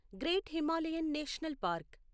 great Himalayan national park